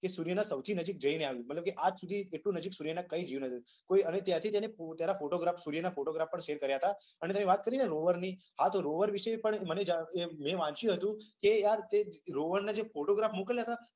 અને સુર્યના સૌથી નજીક જઈને આવ્યુ હતુ. આજ સુધી એટલુ નજીક સુર્યના કઈ જ ગયુ નથી. અને ત્યાંથી છે ને ફોટોગ્રાફસ વગેરા ફોટોગ્રાફ પણ શેર કર્યા હતા. અને તમે વાત કરીને કે રોવરની. હા તો રોવર વિશે પણ મને મેં વાંચ્યુ હતુ કે જે રોવરના જે ફોટોગ્રાફ્સ મોકલ્યા હતા ને